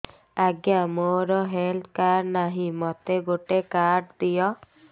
ଆଜ୍ଞା ମୋର health card ନାହିଁ ମୋତେ ଗୋଟେ କାର୍ଡ ଦିଅ